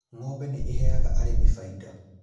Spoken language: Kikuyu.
Ng'ombe nĩ ĩheaga arĩmi faida